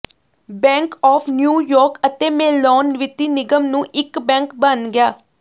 bank of New York ਅਤੇ Mellon ਵਿੱਤੀ ਨਿਗਮ ਨੂੰ ਇੱਕ ਬੈਂਕ ਬਣ ਗਿਆ